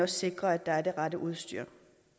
sikrer at der er det rette udstyr